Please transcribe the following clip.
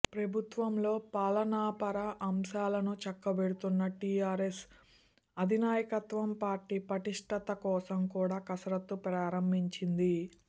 ప్రభుత్వంలో పాలనాపర అంశాలను చక్కబెడుతున్న టీఆర్ఎస్ అధినాయకత్వం పార్టీ పటిష్టత కోసం కూడా కసరత్తు ప్రారంభించింది